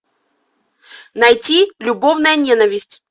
найти любовная ненависть